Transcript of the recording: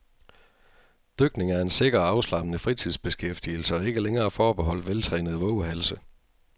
Dykning er en sikker og afslappende fritidsbeskæftigelse og ikke længere forbeholdt veltrænede vovehalse.